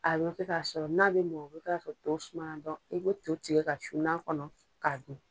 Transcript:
A bɛ kɛ k'a sɔrɔ, nan bi mɔ, o bi kɛ ka sɔrɔ to suma na i bi to tigɛ ka su nan kɔnɔ k'a dun.